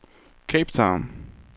Cape Town